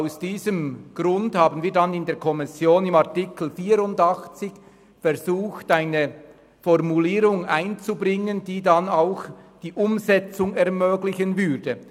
Aus diesem Grund haben wir in der Kommission versucht, im Artikel 84 eine Formulierung einzubringen, die dann auch die Umsetzung ermöglichen würde.